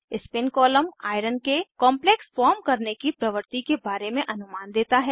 spin column iron के complex form करने की प्रवृति के बारे में अनुमान देता है